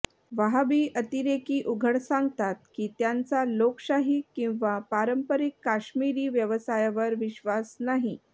वहाबी अतिरेकी उघड सांगतात की त्यांचा लोकशाही किंवा पारंपरिक काश्मिरी व्यवसायावर विश्वास नाही